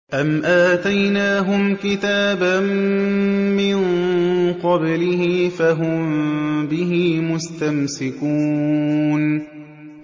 أَمْ آتَيْنَاهُمْ كِتَابًا مِّن قَبْلِهِ فَهُم بِهِ مُسْتَمْسِكُونَ